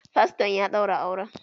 Faston ya ɗaura auran